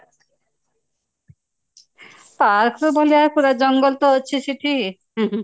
park ତ ଭଳିଆ ଜଙ୍ଗଲ ଅଛି ସେଠି ହୁଁ ହୁଁ